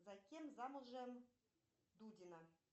за кем замужем дудина